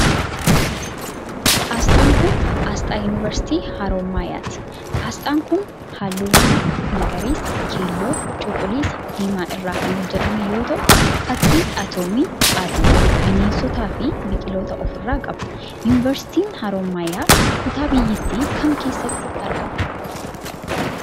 Asxaan kun, asxaa yunivarsiitii Haroomayaati. Asxaan kun, haalluuwwan akka ;magariisa, keelloo, cuquliisa di diimaa irraa kan hojjatame yoo ta'u, fakkii atoomii, aduu ,bineensotaa fi biqilootaa of irraa qaba. Yunivarsiitiin Haroomayaa kutaa biyyattii kam keessatti argama.